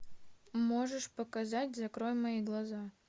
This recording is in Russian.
можешь показать закрой мои глаза